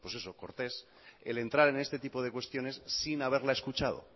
pues eso cortés el entrar en este tipo de cuestiones sin haberla escuchado